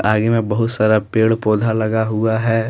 आगे में बहुत सारा पेड़ पौधा लगा हुआ है।